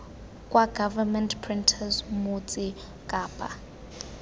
kwa government printers motse kapa